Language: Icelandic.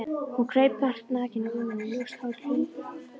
Hún kraup nakin á rúminu, ljóst hárið huldi andlitið.